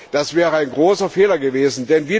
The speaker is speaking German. Das wäre ein großer Fehler gewesen.